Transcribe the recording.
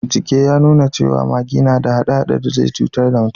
Bincike ya nuna cewa magi na da hade-hade da zai cutar da mutum